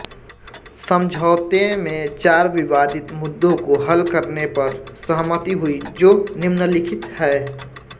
समझौते में चार विवादित मुद्दों को हल करने पर सहमति हुई जो निम्नलिखित है